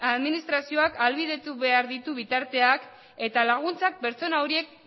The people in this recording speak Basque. administrazioak ahalbidetu behar ditu bitarteak eta laguntzak pertsona horiek